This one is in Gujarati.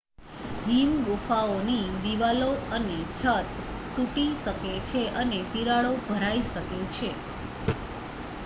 હિમ ગુફાઓની દિવાલો અને છત તૂટી શકે છે અને તિરાડો ભરાઈ શકે છે